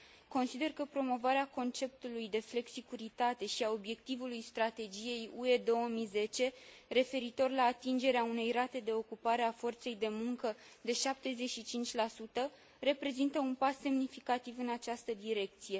Consider că promovarea conceptului de flexicuritate și a obiectivului Strategiei UE 2010 referitor la atingerea unei rate de ocupare a forței de muncă de 75 reprezintă un pas semnificativ în această direcție.